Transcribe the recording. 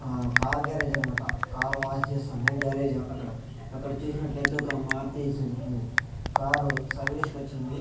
ఆ car garage అన్మాట car wash చేస్తుంది గ్యారేజ్ అక్కడ అక్కడ చూసినట్లయితే ఒక మారుతి సుజుకి కారు సర్వీస్ కొచ్చింది.